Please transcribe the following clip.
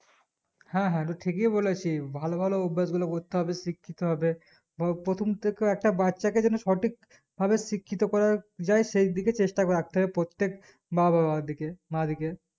হ্যাঁ হ্যাঁ তু ঠিকই বুলেছিলিস ভালো ভালো অভ্যাস গুলো করতে হবে শিক্ষিত হবে হো প্রথম থেকে একটা বাচ্চা কে যেন সঠিক ভাবে শিক্ষিত করা যাই সেই দিকে চেষ্টা রাখতে হবে প্রত্যেক মা বাবার দিকে মা দিকে